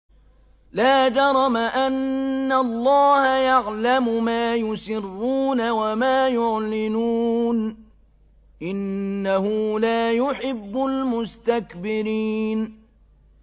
لَا جَرَمَ أَنَّ اللَّهَ يَعْلَمُ مَا يُسِرُّونَ وَمَا يُعْلِنُونَ ۚ إِنَّهُ لَا يُحِبُّ الْمُسْتَكْبِرِينَ